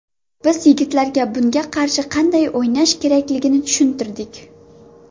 Biz yigitlarga bunga qarshi qanday o‘ynash kerakligini tushuntirdik.